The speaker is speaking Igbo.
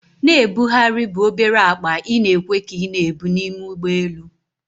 Na-ebugharị bụ obere akpa ị na-ekwe ka ị na-ebu n'ime ụgbọelu